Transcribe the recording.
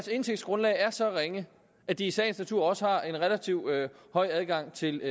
indtægtsgrundlag er så ringe at de i sagens natur også har en relativt høj adgang til